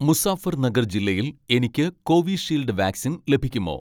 മുസാഫർനഗർ ജില്ലയിൽ എനിക്ക് Covishield vaccine ലഭിക്കുമോ